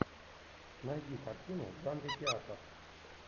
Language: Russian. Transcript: найди картину в жанре театр